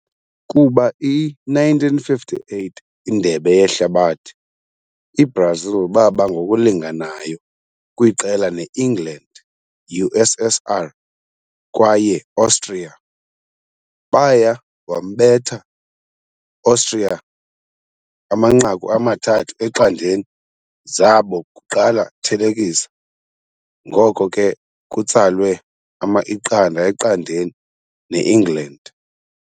Kuba i - 1958 Indebe Yehlabathi, i-Brazil baba ngokulinganayo! kwiqela ne England, USSR kwaye Austria. Baya wambetha Austria 3-0 zabo kuqala thelekisa, ngoko ke kutsalwe 0-0 ne England.